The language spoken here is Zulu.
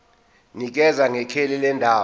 nikeza ngekheli lendawo